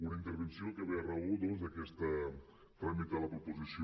una intervenció que ve a raó doncs d’aquest tràmit a la proposició